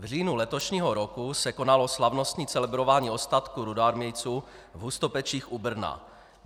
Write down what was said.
V říjnu letošního roku se konalo slavnostní celebrování ostatků rudoarmějců v Hustopečích u Brna.